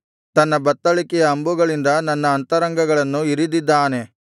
ತನ್ನ ಬತ್ತಳಿಕೆಯ ಅಂಬುಗಳಿಂದ ನನ್ನ ಅಂತರಂಗಗಳನ್ನು ಇರಿದಿದ್ದಾನೆ